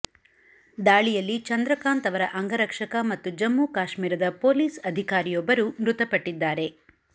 ದಾಳಿಯಲ್ಲಿ ಚಂದ್ರಕಾಂತ್ ಅವರ ಅಂಗರಕ್ಷಕ ಮತ್ತು ಜಮ್ಮು ಕಾಶ್ಮೀರದ ಪೊಲೀಸ್ ಅಧಿಕಾರಿಯೊಬ್ಬರು ಮೃತಪಟ್ಟಿದ್ದಾರೆ